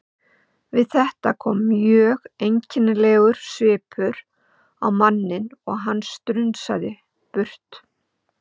Við þetta kom mjög einkennilegur svipur á manninn og hann strunsaði burt.